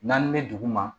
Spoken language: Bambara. N'an bɛ dugu ma